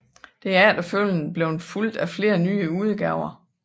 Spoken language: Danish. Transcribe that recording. Det er efterfølgende blevet fulgt af flere nyere udgaver